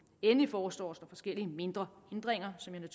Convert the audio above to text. endelig foreslås der forskellige mindre ændringer som jeg